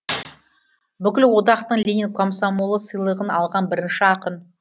бүкілодақтың ленин комсомолы сыйлығын алған бірінші ақын